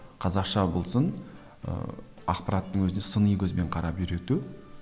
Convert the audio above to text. қазақша болсын ыыы ақпараттың өзіне сыни көзбен қарап үйрету